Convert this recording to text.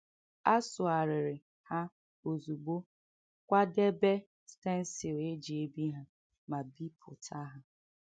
A sụgharịrị ha ozugbo, kwadebe stencil e ji ebi ha, ma bipụta ha.